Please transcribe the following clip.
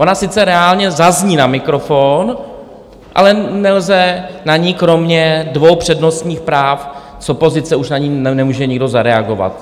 Ona sice reálně zazní na mikrofon, ale nelze na ni kromě dvou přednostních práv, z opozice už na ni nemůže nikdo zareagovat.